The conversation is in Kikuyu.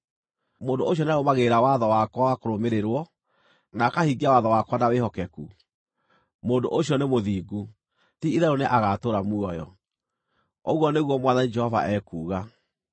Mũndũ ũcio nĩarũmagĩrĩra watho wakwa wa kũrũmĩrĩrwo, na akahingia watho wakwa na wĩhokeku. Mũndũ ũcio nĩ mũthingu; ti-itherũ nĩagatũũra muoyo, ũguo nĩguo Mwathani Jehova ekuuga.